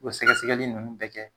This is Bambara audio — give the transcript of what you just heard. U be sɛkɛsɛkɛli nunnu bɛɛ kɛ.